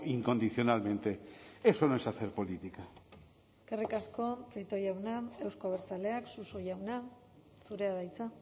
incondicionalmente eso no es hacer política eskerrik asko prieto jauna euzko abertzaleak suso jauna zurea da hitza